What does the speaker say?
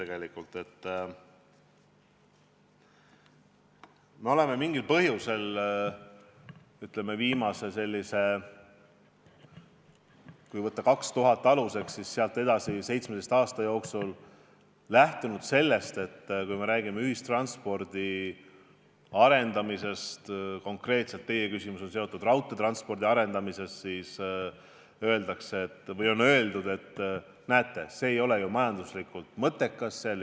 Kui võtta 2000. aasta aluseks, siis me oleme mingil põhjusel 17 aasta jooksul lähtunud sellest, et mis puutub ühistranspordi arendamisse – konkreetselt teie küsimus on raudteetranspordi arendamise kohta –, siis rongiliiklus ei ole majanduslikult mõttekas.